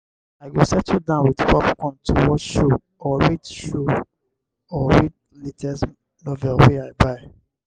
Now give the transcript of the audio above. i go settle down with popcorn to watch show or read show or read latest novel wey i buy.